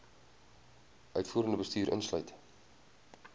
uitvoerende bestuur insluit